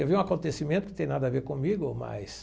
Eu vi um acontecimento que não tem nada a ver comigo, mas...